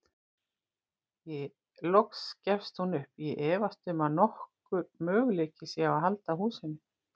Loks gefst hún upp: Ég efast um að nokkur möguleiki sé á að halda húsinu.